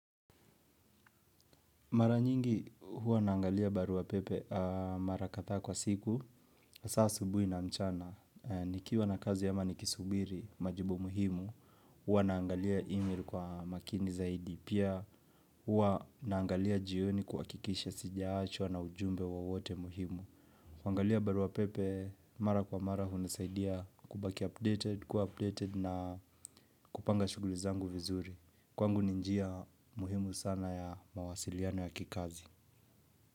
Mara nyingi huwa naangalia barua pepe mara kadhaa kwa siku, hasaa asubuhi na mchana. Nikiwa na kazi ama nikisubiri, majibu muhimu, huwa naangalia email kwa makini zaidi. Pia huwa naangalia jioni kuhakikisha sijaachwaa na ujumbe wowote muhimu. Kuangalia barua pepe, mara kwa mara hunisaidia kubaki updated, kuwa updated na kupanga shughuli zangu vizuri. Kwangu ni njia muhimu sana ya mawasiliano ya kikazi.